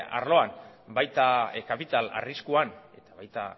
arloan baita kapital arriskuan eta baita